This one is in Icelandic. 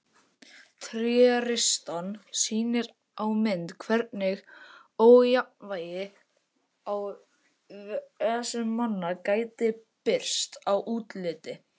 Tréristan sýnir á mynd hvernig ójafnvægi í vessum manna gæti birst í útliti.